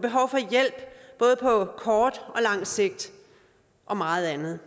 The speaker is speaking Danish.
behov for hjælp både på kort og lang sigt og meget andet